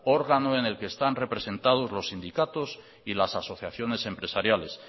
órgano en el que están representados los sindicatos y las asociaciones empresariales